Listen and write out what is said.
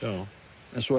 en svo